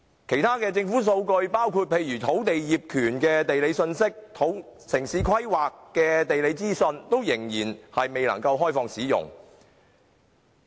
其他數據如土地業權的地理信息及城市規劃的地理資訊仍未能開放使用。